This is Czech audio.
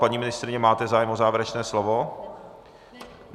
Paní ministryně, máte zájem o závěrečné slovo?